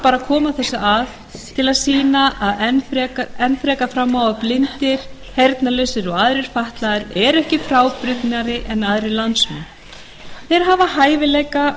koma þessu að til að sýna enn frekar fram á að blindir heyrnarlausir og aðrir fatlaðir eru ekkert frábrugðnir öðrum landsmönnum þeir hafa hæfileika